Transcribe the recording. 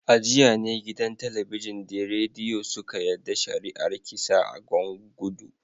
A jiya ne gidan Talabijin da Rediyo suka yada shari’ar kisa a Gwan gudu